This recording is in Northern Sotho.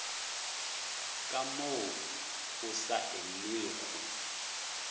ka moo go sa elwego